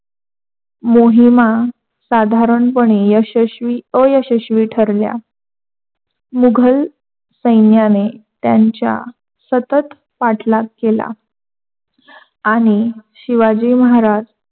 मोहिमा साधारणपणे यशस्वी अयशस्वी ठरल्या. मुघल सैन्याने त्यांच्या सतत पाठलाग केला. आणि शिवाजी महाराज